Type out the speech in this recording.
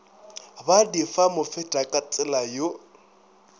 ba di fa mofetakatsela yo